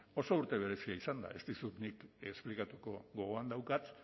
oso urte berezia izan da ez dizut nik esplikatuko gogoan daukat